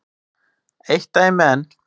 Eitt dæmi enn.